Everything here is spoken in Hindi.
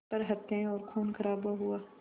पर हत्याएं और ख़ूनख़राबा हुआ